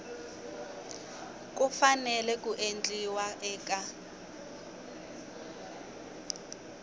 ku fanele ku endliwa eka